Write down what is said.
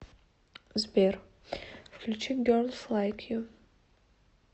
сбер включи герлс лайк ю